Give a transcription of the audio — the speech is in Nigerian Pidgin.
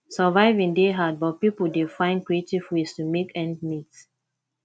surviving dey hard but pipo dey find creative ways to make ends meet